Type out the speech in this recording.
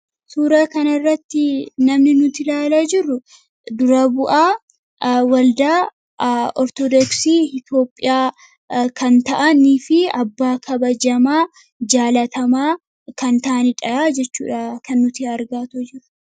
Suura kana irratti namni nuti ilaala jirru dura bu'aa waldaa ortodoksii Itoophiyaa kan ta'anii fi abbaa kabajamaa, jaalatamaa kan ta'aniidha jechuudha kan nuti argaatoo jirru